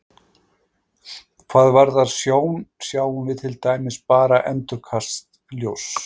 Hvað varðar sjón sjáum við til dæmis bara endurkast ljóss.